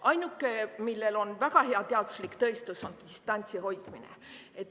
Ainuke, millel on väga hea teaduslik tõestus, on distantsi hoidmine.